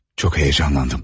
Çox heyecanlandım.